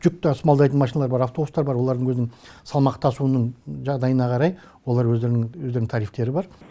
жүк тасымалдайтын машиналар бар автобустар бар олардың өзінің салмақ тасуының жағдайына қарай олар өздерінің өздерінің тарифтері бар